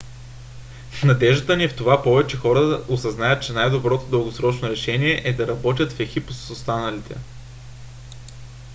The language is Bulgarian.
надеждата ни е в това повечето хора да осъзнаят че най-доброто дългосрочно решение е да работят в екип с останалите